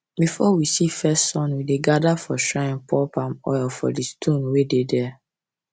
before we see first sun we dey gather for shrine pour palm oil for the stone wey dey there